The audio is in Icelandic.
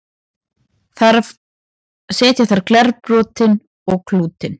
setja þarf glerbrotin og klútinn